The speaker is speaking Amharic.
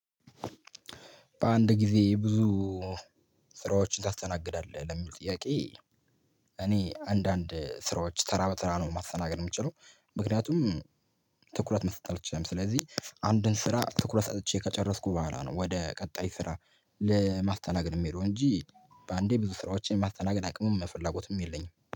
በአንድ ጊዜ ብዙ ስራዎችን ታስተናግዳለህ ለሚል ጥያቄ? እኔ አንዳንድ ስራዎች ተራ በተራ ነው ማስተናገድ የምችለው ምክንያቱም ትኩረት መስጠት አልችልም። ስለዚህ አንድን ስራ ትኩረት ሰጥቼ ከጨረስኩ በኋላ ነው ወደ ቀጣይ ስራ ለማስተናገድ የምሄደው እንጂ በአንዴ ብዙ ስራዎችን ማስተናገድ አቅሙም ፍለጎትም የለኝም